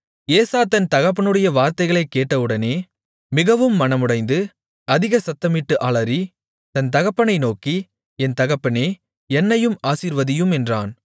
ஏசா தன் தகப்பனுடைய வார்த்தைகளைக் கேட்டவுடனே மிகவும் மனமுடைந்து அதிக சத்தமிட்டு அலறி தன் தகப்பனை நோக்கி என் தகப்பனே என்னையும் ஆசீர்வதியும் என்றான்